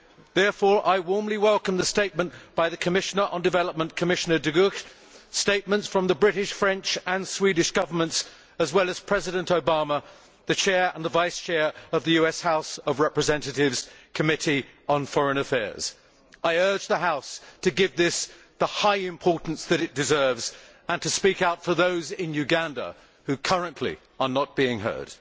Therefore, I warmly welcome the statement by the Commissioner on Development and Humanitarian Aid, Commissioner De Gucht, statements from the British, French and Swedish Governments as well as President Obama and the Chair and Vice Chair of the US House of Representatives' Committee on Foreign Affairs. I urge the House to give this the high importance which it deserves and to speak out for those in Uganda who currently are not being heard.